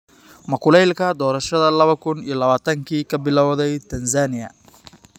Ma kulaylka doorashada lawo kuun iyo lawatanki ka bilowday Tanzania?